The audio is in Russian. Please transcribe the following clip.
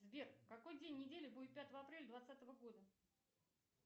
сбер какой день недели будет пятого апреля двадцатого года